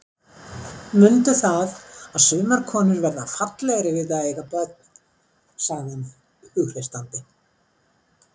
Mundu það að sumar konur verða fallegri við það að eiga börn, sagði hann hughreystandi.